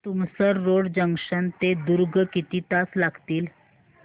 Tumsar road junction ते दुर्ग किती तास लागतील